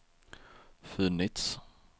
funnits